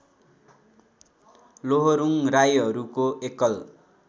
लोहोरुङ राईहरूको एकल